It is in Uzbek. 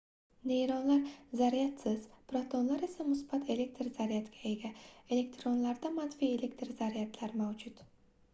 neytronlar zaryadsiz protonlar esa musbat elektr zaryadga ega elektronlarda manfiy elektr zaryadlar mavjud